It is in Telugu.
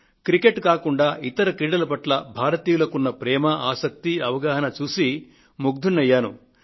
క్రికెట్ కాకుండా ఇతర క్రీడల పట్ల భారతీయులకు ఉన్న ప్రేమ ఆసక్తి అవగాహనలు చూసి నేను ముగ్ధుడినయ్యాను